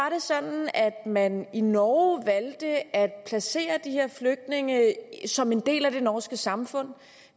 at man i norge valgte at placere de her flygtninge som en del af det norske samfund